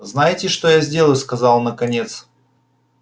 знаете что я сделаю сказал он наконец